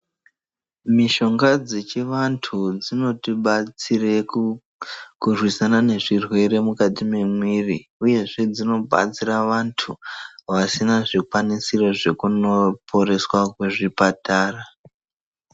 Mishonga dzechivantu dzinotibatsira mukurwisana nezvirwere mukati memwiri uyezve dzinobatsira vantu vasina zvikwanisiro zvekunoporeswa kuzvipatara.